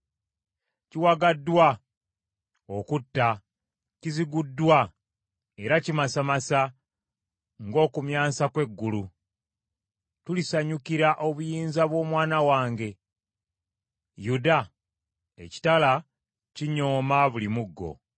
kiwagaddwa okutta, kiziguddwa, era kimasamasa ng’okumyansa kw’eggulu! Tulisanyukira obuyinza bw’omwana wange Yuda? “ ‘Ekitala kinyooma buli muggo.